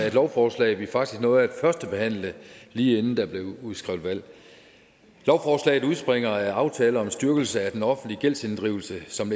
af et lovforslag vi faktisk nåede at førstebehandle lige inden der blev udskrevet valg lovforslaget udspringer af aftale om styrkelse af den offentlige gældsinddrivelse som